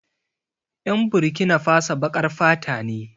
Yan Burkinafaso baƙar fata ne